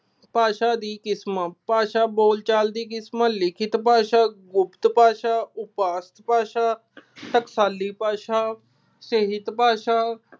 ਭਾਸ਼ਾ ਦੀਆਂ ਕਿਸਮਾਂ। ਭਾਸ਼ਾ ਬੋਲਚਾਲ ਦੀ ਕਿਸਮ, ਲਿਖਿਤ ਭਾਸ਼ਾ, ਗੁਪਤ ਭਾਸ਼ਾ, ਭਾਸ਼ਾ, ਟਕਸਾਲੀ ਭਾਸ਼ਾ, ਭਾਸ਼ਾ